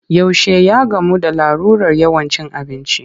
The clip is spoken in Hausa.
Yaushe ya gamu da larurar yawan cin abinci?